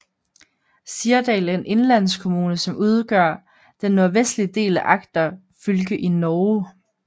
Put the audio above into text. Sirdal er en indlandskommune som udgør den nordvestlige del af Agder fylke i Norge